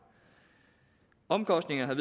omkostningerne